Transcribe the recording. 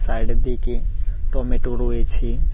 Side -এর দিকে tomato রয়েছে।